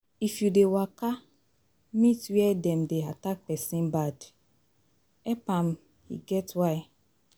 If you dey waka meet where dem dey attack pesin bad, help am e get why